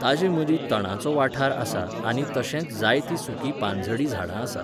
ताचे मदीं तणाचो वाठार आसा आनी तशेंच जायतीं सुकीं पानझडीं झाडां आसात.